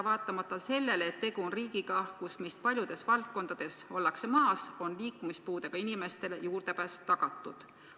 Vaatamata sellele, et tegu on riigiga, kus paljudes valdkondades ollakse meist maas, on liikumispuudega inimestele juurdepääs tagatud.